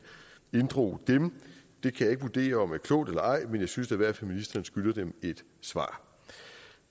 inddrog dem jeg kan ikke vurdere om det er klogt eller ej men jeg synes da i hvert fald ministeren skylder dem et svar